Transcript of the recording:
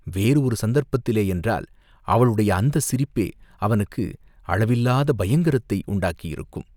வேறு ஒரு சந்தர்ப்பத்திலே யென்றால், அவளுடைய அந்தச் சிரிப்பே அவனுக்கு அளவிலாத பயங்கரத்தை உண்டாக்கியிருக்கும்.